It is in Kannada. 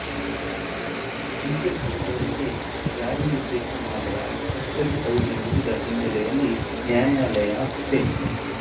ಡಿಕೆಶಿ ಅವರಿಗೆ ಜಾರಿ ನಿರ್ದೇಶನಾಲಯ ಕಸ್ಟಡಿ ಅವಧಿ ಮುಗಿದ ಹಿನ್ನೆಲೆಯಲ್ಲಿ ನ್ಯಾಯಾಲಯ ಸೆ